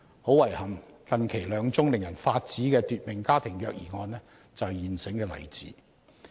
很遺憾，近期兩宗令人髮指的奪命家庭虐兒案便是現成例子。